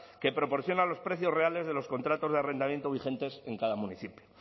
que proporciona los precios reales de los contratos de arrendamiento vigentes en cada municipio